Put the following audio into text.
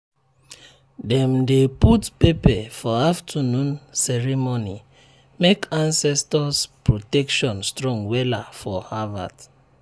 dem dey put pepper for afternoon ceremony make ancestors protection strong wella for harvet